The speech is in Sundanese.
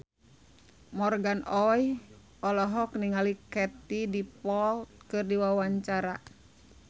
Morgan Oey olohok ningali Katie Dippold keur diwawancara